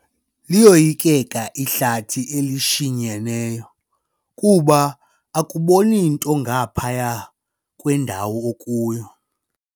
Liyoyikeka ihlathi elishinyeneyo kuba akuboni nto ngaphaya kwendawo okuyo.